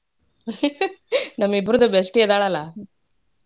ನಮ್ಮಿಬ್ಬರದೂ bestie ಇದಾಳಲಾ.